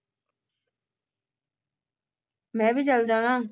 ਮੈਂ ਵੀ ਚਲ ਜਾਣਾ